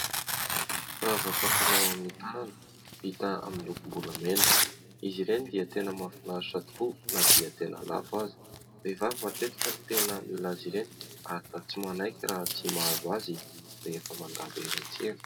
Ravaka fanao amin'ny tanana vita amin'ny lokom-bolamena. Izy ireny dia tena mahafinaritra tokoa na dia tena lafo aza. Vehivahy matetika no tena mila azy ireny. Ary tsy maniky raha tsy mahazo azy rehefa mandalo eny antsena.